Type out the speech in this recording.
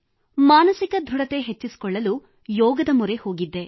ಮಾನಸಿಕ ದೃಢತೆ ಹೆಚ್ಚಿಸಿಕೊಳ್ಳಲು ಯೋಗದ ಮೊರೆ ಹೋಗಿದ್ದೆ